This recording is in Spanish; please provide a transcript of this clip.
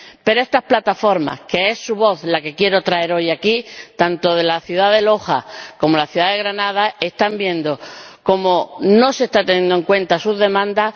Pero estas plataformas cuya voz quiero traer hoy aquí, tanto de la ciudad de Loja como de la ciudad de Granada, están viendo cómo no se están teniendo en cuenta sus demandas.